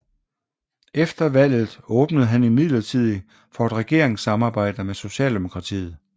Efter valget åbnede han imidlertid for et regeringssamarbejde med Socialdemokratiet